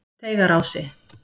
Teigarási